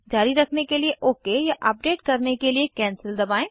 जारी रखने के लिए ओक या अपडेट करने के लिए कैंसेल दबाएं